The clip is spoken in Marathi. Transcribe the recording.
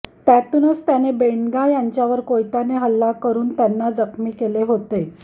त्यातूनच त्याने बेंडगा याच्यावर कोयत्याने हल्ला करूुन त्यांना जखमी केले होते